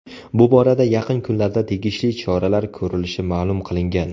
Bu borada yaqin kunlarda tegishli choralar ko‘rilishi ma’lum qilingan.